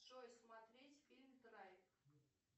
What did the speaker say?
джой смотреть фильм драйв